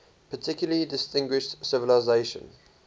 particularly distinguished civilization